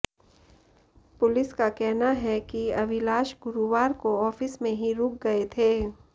police का कहना है कि अविलाश गुरुवार को ऑफिस में ही रुक गए थे